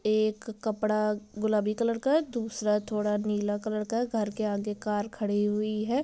एक कपड़ा गुलाबी कलर का है दूसरा थोड़ा नीला कलर का है घर के आगे कार खड़ी हुई है।